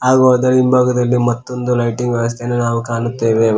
ಹಾಗು ಅದರ ಹಿಂಭಾಗದಲ್ಲಿ ಮತ್ತೊಂದು ಲೈಟಿಂಗ್ ವ್ಯವಸ್ಥೆಯನ್ನು ನಾವು ಕಾಣುತ್ತೇವೆ.